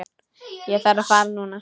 Ég þarf að fara núna